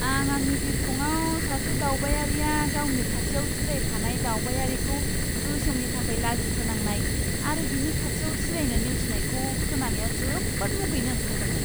आं आंनि बिरखंआव सासे दावबायारिया गावनि खाथियाव जिरायफानाय दावबायारिखौ गोसोमनि थाखाय लाजिफोनांनाय आरो बिनि खाथियाव जिरायनो नेवसिनायखौ खोनानायाव जोबोद मुगैनो ओंखारदोंमोन!